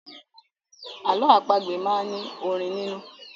Àlọ́ àpagbè máa ń ní orin nínú.